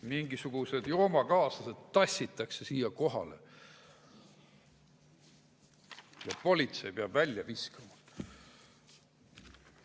Mingisugused joomakaaslased tassitakse siia kohale ja politsei peab need välja viskama.